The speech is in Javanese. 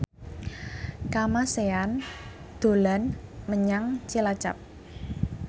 Kamasean dolan menyang Cilacap